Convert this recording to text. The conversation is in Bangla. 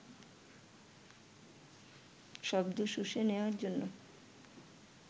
শব্দ শুষে নেওয়ার জন্য